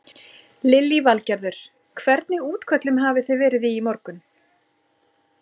Lillý Valgerður: Hvernig útköllum hafi þið verið í morgun?